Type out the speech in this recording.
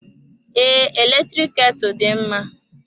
Ee, eletrik ketu dị mma.